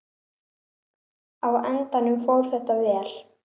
Á endanum fór þetta vel.